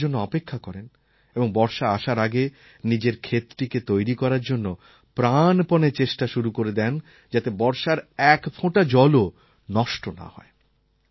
তাঁরা বর্ষার জন্য অপেক্ষা করেন এবং বর্ষা আসার আগে নিজের ক্ষেতটিকে তৈরি করার জন্য প্রাণপণে চেষ্টা শুরু করে দেন যাতে বর্ষার এক ফোঁটা জলও নষ্ট না হয়